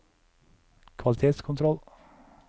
kvalitetskontroll